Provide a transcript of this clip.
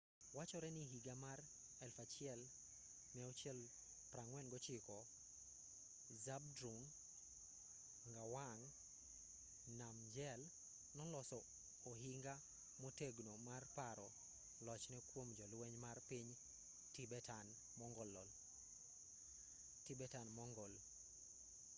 wachore ni higa mar 1649 zhabdrung ngawang namgyel noloso ohinga motegno mar paro lochne kuom jolweny mar piny tibetan-mongol